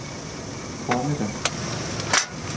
formiddag